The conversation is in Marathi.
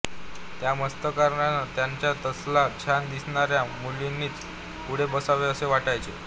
त्या मास्तरांना त्यांच्या तासाला छान दिसणाऱ्या मुलांनीच पुढे बसावे असे वाटायचे